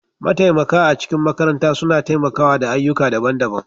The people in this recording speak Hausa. Mataimaka a cikin makaranta suna taimakawa da ayyuka daban-daban